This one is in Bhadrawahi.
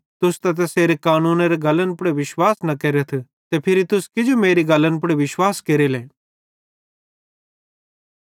तुस त तैसेरे कानूनेरे गल्लन पुड़ विश्वास न केरथ ते फिरी तुस किजो मेरी गल्लन पुड़ विश्वास केरेले